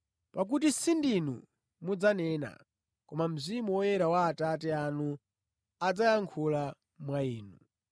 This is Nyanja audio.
pakuti sindinu mudzanena, koma Mzimu Woyera wa Atate anu, adzayankhula mwa inu.